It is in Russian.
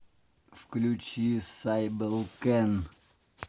включи сайбел кэн